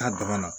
A damana